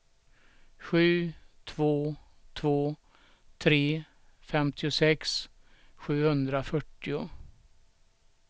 sju två två tre femtiosex sjuhundrafyrtio